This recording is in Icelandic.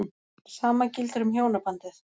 Sama gildir um hjónabandið.